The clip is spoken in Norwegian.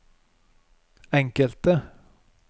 enkelte